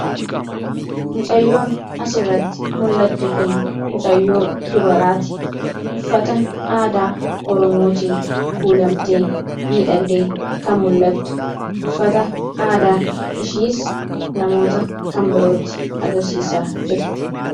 mucayyoon as irratti mul'attu kun mucayyoo dubaraati uffata aadaa oromootiin kuulamtee miidhagdee kan mul'attu uffata aadaa ishiis namoota kan birootti agarsiisaa jirti